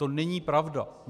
To není pravda!